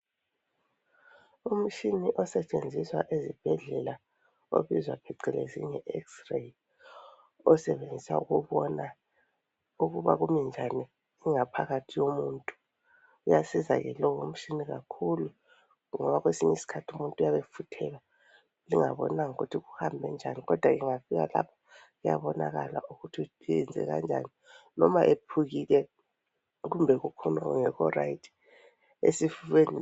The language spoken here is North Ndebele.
Umtshina osetshenziswa ezibhedlela obizwa phecelezi nge Ex-ray. Osebenzisa ukubona ukubana kumi njani ingaphakathi yomuntu, uyasiza ke lo mtshina kakhulu ngoba kwesinye isikhathi umuntu uyabe efuthelwa lingabonanga ukuthi kuhambe njani kodwa engafika lapho kuyabonakala ukuthi uyenze kanjani loba ephukile kumbe kuphume okungekho rayithi esifubeni.